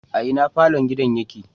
A ina falon gidan yake?